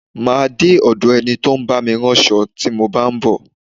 Má a de ọ̀do ẹni tí ó ń bá mi ránṣo tí mo bá ń bọ̀.